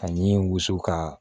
Ani wusu kaa